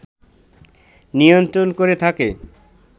নিয়ন্ত্রণ করে থাকে